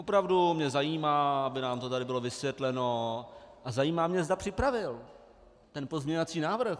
Opravdu mě zajímá, aby nám to tady bylo vysvětleno, a zajímá mě, zda připravil ten pozměňovací návrh.